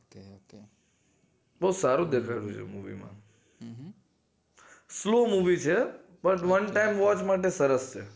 બોવ સારું દેખાય છે movie માં solo movie છે one time watch માટે સરસ છે